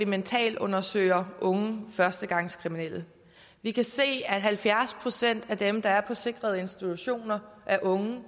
mentalundersøger unge førstegangskriminelle vi kan se at halvfjerds procent af dem der er på sikrede institutioner er unge